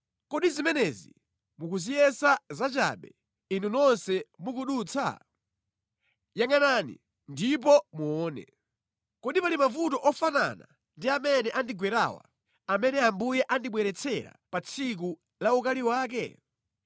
“Kodi zimenezi mukuziyesa zachabe, inu nonse mukudutsa? Yangʼanani ndipo muone. Kodi pali mavuto ofanana ndi amene andigwerawa, amene Ambuye anandibweretsera pa tsiku la ukali wake?